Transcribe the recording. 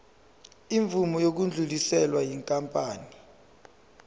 imvume yokudluliselwa yinkampani